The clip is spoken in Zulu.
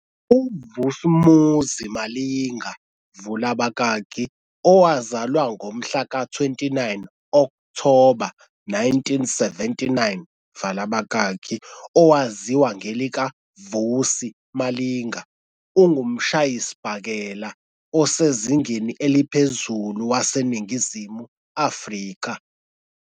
UVus'Umuzi Malinga, vula abakaki, owazalwa ngomhlaka 29 Okthoba 1979, vala abakaki, owaziwa ngelikaVusi Malinga, ungumshayisibhakela osezingeni eliphezulu waseNingizimu Afrika.